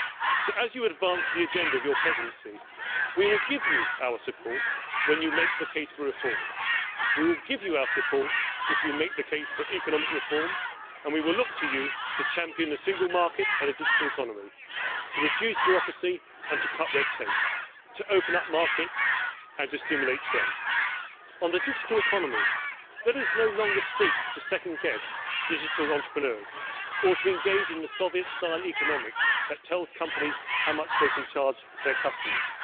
So, as you advance the agenda of your Presidency, we will give you our support when you make the case for reform. We will give you our support if you make the case for economic reform, and we will look to you to champion the single market and the digital economy, to reduce bureaucracy and to cut red tape, to open up markets and to stimulate trade. On the digital economy, let us no longer seek to second guess digital entrepreneurs or to engage in the Soviet style economics that tells companies how much they can charge their customers.